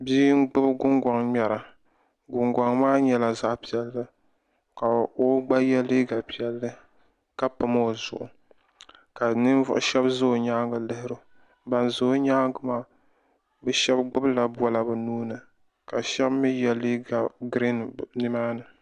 Bia n gbubi gungɔŋ ŋmɛra gungɔŋ maa yɛla zaɣi piɛlli ka o gba yiɛ liiga piɛlli ka pom o zuɣu ka ninvuɣi shɛba zi o yɛanga n lihiri o bani za o yɛanga maa bi shɛba bi shɛba gbubi la bola bi nuu ni ka shɛba mi yiɛ liiga griin nima ni.